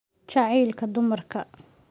Jacaylka dumarka.